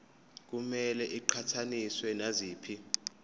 kumele iqhathaniswe naziphi